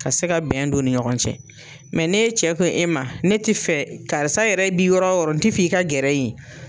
Ka se ka bɛn don u ni ɲɔgɔn cɛ, mɛ n'e cɛ ko e ma, ne tɛ fɛ karisa yɛrɛ bi yɔrɔ oyɔrɔ i ka gɛrɛ yen.